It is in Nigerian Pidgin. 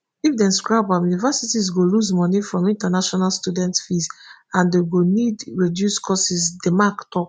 if dem scrap am universities go lose money from international students fees and dem go need reduce courses di mac tok